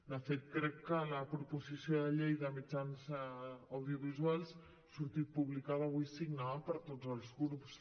de fet crec que la proposició de llei de mitjans audiovisuals ha sortit publicada avui signada per tots els grups